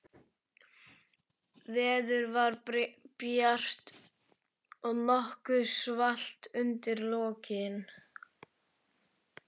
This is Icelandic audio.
Veður var bjart, en nokkuð svalt undir lokin.